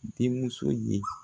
Den muso ye.